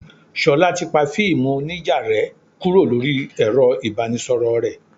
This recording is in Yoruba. Ṣolá ti pa fíìmù onija rẹ kúrò lórí ẹ̀rọ ibanisoro rẹ.